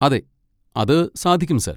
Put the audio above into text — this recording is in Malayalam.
അതെ, അത് സാധിക്കും, സർ.